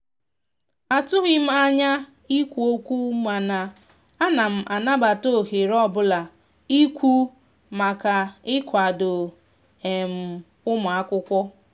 a tughim anya ikwụ okwụmana anam anabata ohere ọbụla ikwù maka ikwado um ụmụakwụkwọ.